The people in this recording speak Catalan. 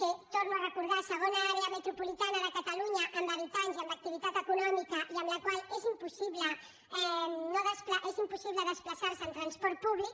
ho torno a recordar segona àrea metropolitana de catalunya en habitants i en activitat econòmica i en la qual és impossible desplaçar se amb transport públic